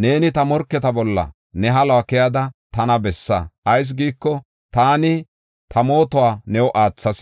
neeni ta morketa bolla ne haluwa keyada tana bessa. Ayis giiko, taani ta mootuwa new aathas.